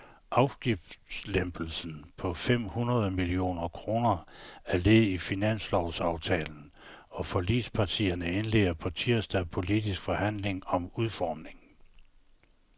Afgiftslempelsen på fem hundrede millioner kroner er led i finanslovsaftalen, og forligspartierne indleder på tirsdag politiske forhandlinger om udformningen.